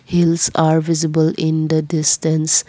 hills are visible in the distance.